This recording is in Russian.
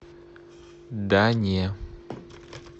да не